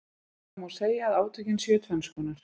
Það má segja að átökin séu tvenns konar.